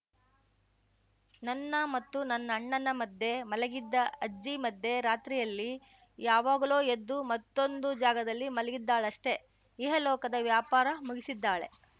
ನನ್ನ ಮತ್ತು ನನ್ನಣ್ಣನ ಮಧ್ಯೆ ಮಲಗಿದ್ದ ಅಜ್ಜಿ ಮಧ್ಯರಾತ್ರಿಯಲ್ಲಿ ಯಾವಾಗಲೋ ಎದ್ದು ಮತ್ತೊಂದು ಜಾಗದಲ್ಲಿ ಮಲಗಿದ್ದಾಳಷ್ಟೇ ಇಹಲೋಕದ ವ್ಯಾಪಾರ ಮುಗಿಸಿದ್ದಾಳೆ